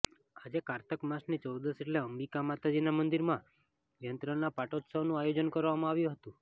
આજે કારતક માસની ચૌદશ એટલે અંબિકા માતાજીના મંદિરમાં યંત્રના પાટોત્સવનું આયોજન કરવામાં આવ્યું હતું